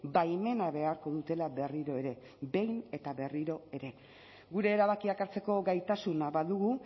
baimena beharko dutela berriro ere behin eta berriro ere gure erabakiak hartzeko gaitasuna badugu